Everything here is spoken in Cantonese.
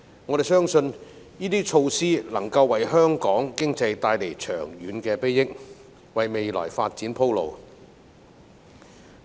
我們相信，這些措施能夠為香港經濟帶來長遠裨益，為未來發展鋪路。